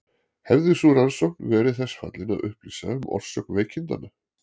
Hefði sú rannsókn verið til þess fallin að upplýsa um orsök veikindanna?